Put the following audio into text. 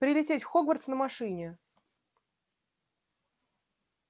прилететь в хогвартс на машине